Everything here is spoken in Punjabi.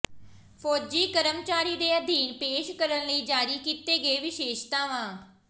ਫੌਜੀ ਕਰਮਚਾਰੀ ਦੇ ਅਧੀਨ ਪੇਸ਼ ਕਰਨ ਲਈ ਜਾਰੀ ਕੀਤੇ ਗਏ ਵਿਸ਼ੇਸ਼ਤਾਵਾਂ